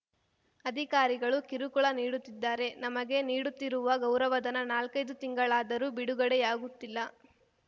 ಅಧಿಕಾರಿಗಳು ಕಿರುಕುಳ ನೀಡುತ್ತಿದ್ದಾರೆ ನಮಗೆ ನೀಡುತ್ತಿರುವ ಗೌರವಧನ ನಾಲ್ಕೈದು ತಿಂಗಳಾದರೂ ಬಿಡುಗಡೆಯಾಗುತ್ತಿಲ್ಲ